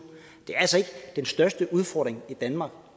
at den største udfordring i danmark